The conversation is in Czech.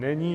Není.